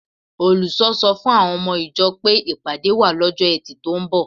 Olùṣọ́ sọ fún àwọn ọmọ ìjọ pé ìpàdé wà lọ́jọ́ Ẹtì tó ń bọ̀